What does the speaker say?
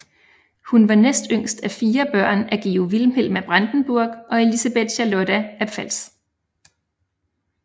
Hun var næst yngst af fire børn af Georg Vilhelm af Brandenburg og Elisabeth Charlotta af Pfalz